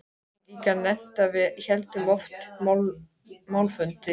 Ég get líka nefnt að við héldum oft málfundi.